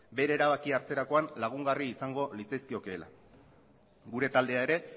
bere erabakia hartzerakoan lagungarri izango litzaizkiokeela gure taldea ere